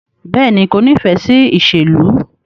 Bẹẹni, ko nifẹ si iṣelu